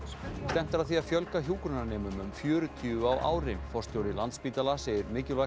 stefnt er að því að fjölga hjúkrunarnemum um fjörutíu á ári forstjóri Landspítala segir mikilvægt